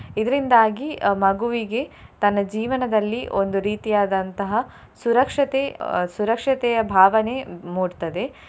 ಇದ್ರಿಂದಾಗಿ ಅಹ್ ಮಗುವಿಗೆ ತನ್ನ ಜೀವನದಲ್ಲಿ ಒಂದು ರೀತಿಯಾದಂತಹ ಸುರಕ್ಷತೆ, ಅಹ್ ಸುರಕ್ಷತೆಯ ಭಾವನೆ ಮೂಡ್ತದೆ.